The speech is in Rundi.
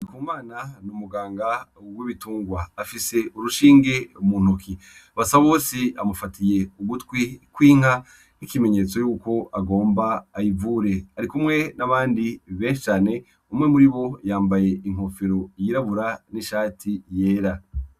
Ndikumana n'umuganga w'ibitungwa afis'urushinge muntoki, Basabosi amufatiy 'ugutwi kw'inka nk'ikimenyetso ko agomba ayivure, arikumwe n'abandi benshi cane umwe muribo yambaye inkofero yirabura n'ishati yera.